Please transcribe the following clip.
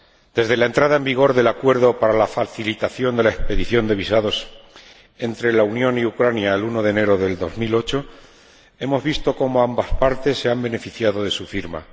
Desde la entrada en vigor del Acuerdo para la facilitación de la expedición de visados entre la Unión y Ucrania, el 1 de enero de 2008, hemos visto cómo ambas partes se han beneficiado de su firma.